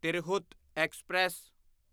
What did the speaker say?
Tirhut express